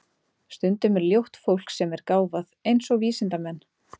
Stundum er ljótt fólk sem er gáfað, eins og vísindamenn.